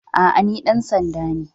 A'a, ni dan sanda ne.